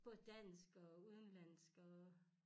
Både dansk og udenlandsk og